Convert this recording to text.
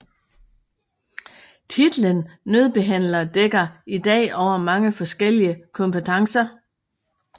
Titlen nødbehandler dækker i dag over mange forskellige kompetencer